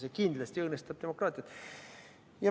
See kindlasti õõnestab demokraatiat.